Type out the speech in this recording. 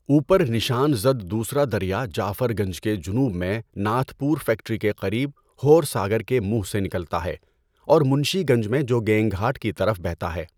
اوپر نشان زد دوسرا دریا جعفر گنج کے جنوب میں ناتھ پور فیکٹری کے قریب ہورساگر کے منہ سے نکلتا ہے اور منشی گنج میں جوگینگھاٹ کی طرف بہتا ہے۔